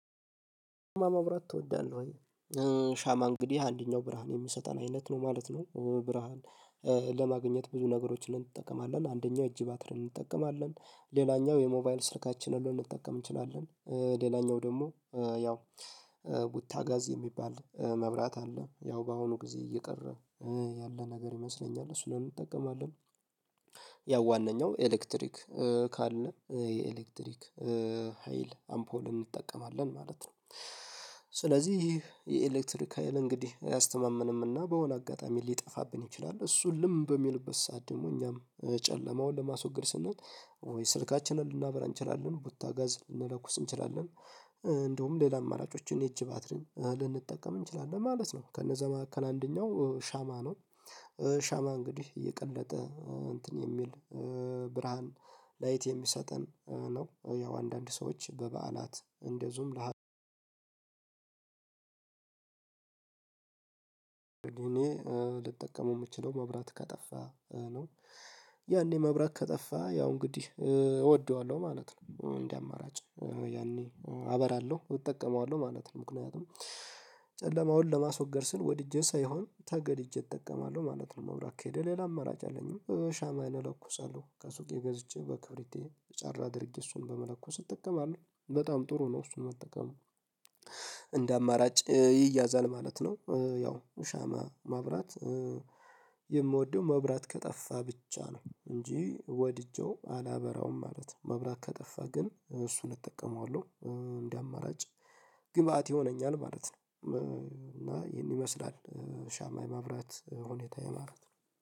ማብራት ትወዳለህ ወይ? ሻማ እንግዲህ አንደኛው ብርሃን የሚሰጠን አይነት ነው ማለት ነው። ብርሃን ለማግኘት ብዙ ነገሮችን እንጠቀማለን አንደኛው እጅ ባትሪም እንጠቀማለን ሌላኛው የሞባይል ስልካችንን ልንጠቀም እንችላለን። ሌላኛው ደግሞ ያው ቡታ ጋዝ የሚባል መብራት አለ ያው በአሁኑ ጊዜ እየቀረ ያለ ነገር ይመስለኛል እሱን እንጠቀማለን። ያው ዋናኛው ኤሌክትሪክ ካለ የኤሌክትሪክ ሀይል አምፖል እንጠቀማለን ማለት ነው። ስለዚህ የኤሌክትሪክ ሀይል እንግዲህ አያስተማምንምና በሆነ አጋጣሚ ሊጠፋብን ይችላል እሱን እልም በሚልበት ሰዓት ደግሞ እኛም ጨለማውን ለማስወገድ ስንል ወይ ስልካችንን ልናበራ እንችላለን ቦታ ጋዝ ልንለኩስ እንችላለን። እንደውም ሌላ አማራጮችን የእጅ ባትሪን ልንጠቀም እንችላለን ማለት ነው ከነዛ መካከል አንደኛው ሻማ ነው። ሻማ እንግዲህ እየቀለጠ እንትን የሚል ብርሃን ላይት የሚሰጠን ነው ያው አንዳንድ ሰዎች በባዓላት እንደዚሁም ለሀገር እኔ ልጠቀም የምችለው መብራት ከጠፋ ነው። ያኔ መብራት ከጠፋ ያው እንግዲህ እወደዋለሁ ማለት ነው እንደ አማራጭ ያኔ አበራለሁ እጠቀመዋለሁ ማለት ነው። ምክንያቱም ጨለማውን ለማስወገድ ስል ወድጄ ሳይሆን ተገድጄ እጠቀማለሁ ማለት ነው። መብራት ከሄደ ሌላ አማራጭ የለኝም ሻማዬን እለኩሳለሁ ከሱቄ ገዝቼ በክብሪቴ ጨር አድርጌ እሱን በመለኮስ እጠቀማለሁ በጣም ጥሩ ነው። እሱን መጠቀም እንደ አማራጭ ይያዛል ማለት ነው። ያው ሻማ ማብራት የምወደው መብራት ከጠፋ ብቻ ነው እንጂ ወድጄው አላበራውም ማለት ነው። መብራት ከጠፋ ግን እሱን እጠቀመዋለሁ እንደ አማራጭ ግብአት ይሆነኛል ማለት ነው። እና ይሄን ይመስላል ሻማ የማብራት ሁኔታዬ ማለት ነው